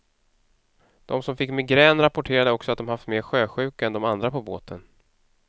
De som fick migrän rapporterade också att de haft mer sjösjuka än de andra på båten.